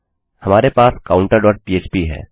हमारे पास counterपह्प है